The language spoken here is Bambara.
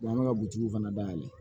an bɛ ka bugutigiw fana dayɛlɛ